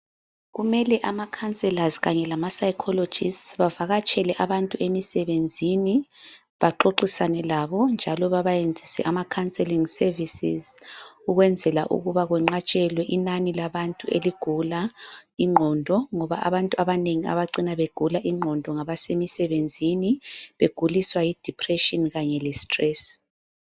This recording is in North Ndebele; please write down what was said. Kumele amakhanselazi kanye lama psychologists bavakatshele abantu emsebenzini baxoxisane labo njalo babayenzise ama counseling services ukwenzela ukuba kwenqatshelwe inani labantu eligula ingqondo, ngoba abantu abanengi abacina begula ingqondo ngabasemisebenzini beguliswa yi depression kanye lestress.